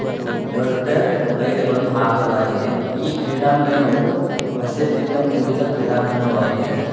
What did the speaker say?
ದೊಡ್ಡ ಲೈಟ್ಗಳು ಹಾಕಲಾಗಿದೆ ಈ ಕ್ರೀಡಾಂಗಣವು ಹಸಿರಿನಿಂದ ಕುಡಿದ ಕ್ರೀಡಾಂಗಣವಾಗಿದೆ.